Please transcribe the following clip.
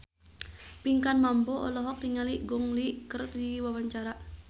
Pinkan Mambo olohok ningali Gong Li keur diwawancara